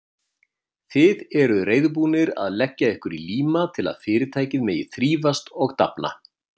Þið eruð reiðubúnir að leggja ykkur í líma til að Fyrirtækið megi þrífast og dafna.